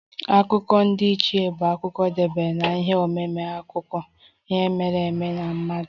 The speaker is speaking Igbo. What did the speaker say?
Akụkọ ndiichie bụ akụkọ dabere na ihe omume akụkọ ihe mere eme ma mmadụ